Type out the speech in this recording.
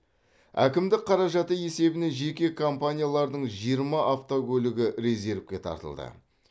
әкімдік қаражаты есебінен жеке компаниялардың жиырма автокөлігі резервке тартылды